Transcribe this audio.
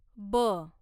ब